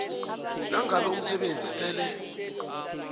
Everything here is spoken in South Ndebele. nangabe umsebenzi sele